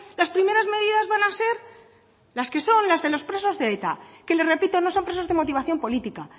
las primeras medidas van a ser las que son las de los presos de eta que le repito no son presos de motivación política